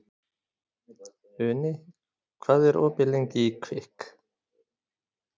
Uni, hvað er opið lengi í Kvikk?